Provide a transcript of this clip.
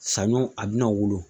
Saɲɔ a bɛna wolo